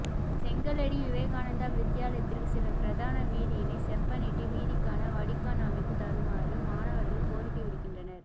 செங்கலடி விவேகானந்தா வித்தியாலயத்திற்கு செல்லும் பிரதான வீதியினை செப்பனிட்டு வீதிக்கான வடிகான் அமைத்து தருமாறு மாணவர்கள் கோரிக்கை விடுக்கின்றனர்